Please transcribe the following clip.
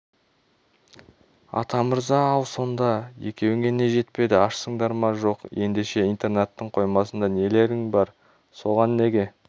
атамырза ал сонда екеуіңе не жетпеді ашсыңдар ма жоқ ендеше интернаттың қоймасында нелерің бар соған неге